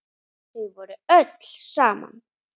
Þau voru öll saman.